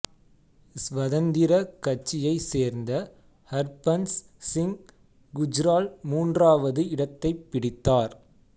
ஸ்வதந்திர கட்சியைச் சேர்ந்த ஹர்பன்ஸ் சிங் குஜ்ரால் மூன்றாவது இடத்தைப் பிடித்தார்